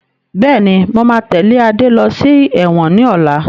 Bẹ́ẹ̀ni, mo máa tẹ́lẹ̀ Adé lọ sí ẹ̀wọ̀n ni ọ̀la